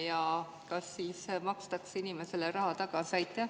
Ja kas siis makstakse inimesele raha tagasi?